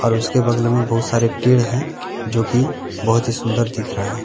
और उसके बगल में बहुत सारे पेड़ हैं जो की बहोत ही सुंदर दिख रहा है।